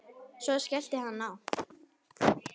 Svo skellti hann á.